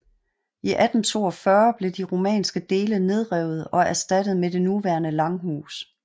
I 1842 blev de romanske dele nedrevet og erstattet med det nuværende langhus